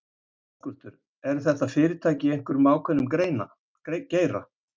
Höskuldur: Eru þetta fyrirtæki í einhverjum ákveðnum geira?